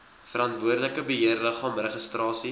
verantwoordelike beheerliggaam registrasie